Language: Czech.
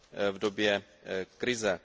v době krize.